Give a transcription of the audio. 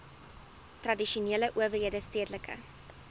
tradisionele owerhede stedelike